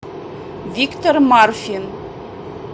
виктор марфин